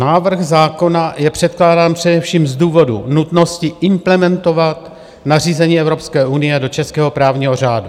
Návrh zákona je předkládán především z důvodu nutnosti implementovat nařízení Evropské unie do českého právního řádu.